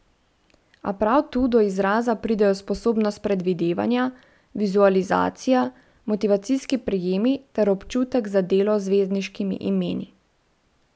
A prav tu do izraza pridejo sposobnost predvidevanja, vizualizacija, motivacijski prijemi ter občutek za delo z zvezdniškimi imeni.